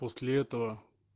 после этого